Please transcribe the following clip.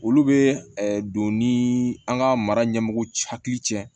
Olu bɛ don ni an ka mara ɲɛmɔgɔw hakili cɛ ye